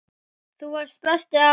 Þú varst besti afinn.